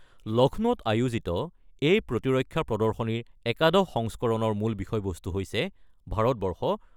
লক্ষ্ণৌত আয়োজিত এই প্ৰতিৰক্ষা প্ৰদৰ্শনীৰ একাদশ সংস্কৰণৰ মূল বিষয়বস্তু হৈছে ভাৰতবৰ্ষ